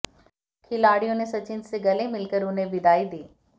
खिलाडिय़ों ने सचिन से गले मिल कर उन्हें विदाई दी